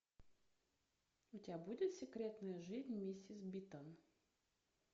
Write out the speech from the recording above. у тебя будет секретная жизнь миссис битон